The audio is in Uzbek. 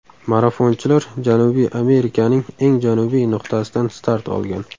Marafonchilar Janubiy Amerikaning eng janubiy nuqtasidan start olgan.